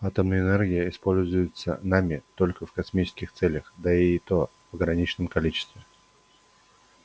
атомная энергия используется нами только в космических целях да и то в ограниченном количестве